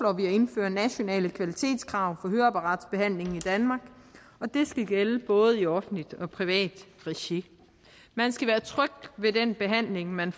indføre nationale kvalitetskrav på høreapparatbehandlingen i danmark og det skal gælde både i offentligt og privat regi man skal være tryg ved den behandling man